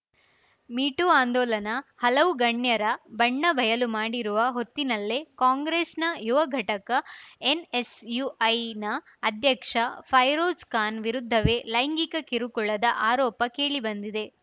me too ಆಂದೋಲನ ಹಲವು ಗಣ್ಯರ ಬಣ್ಣ ಬಯಲು ಮಾಡಿರುವ ಹೊತ್ತಿನಲ್ಲೇ ಕಾಂಗ್ರೆಸ್‌ನ ಯುವಘಟಕ ಎನ್‌ಎಸ್‌ಯುಐನ ಅಧ್ಯಕ್ಷ ಫೈರೋಜ್‌ ಖಾನ್‌ ವಿರುದ್ಧವೇ ಲೈಂಗಿಕ ಕಿರುಕುಳದ ಆರೋಪ ಕೇಳಿಬಂದಿದೆ